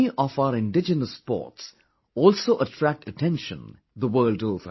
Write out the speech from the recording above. Many of our indigenous sports also attract attention the world over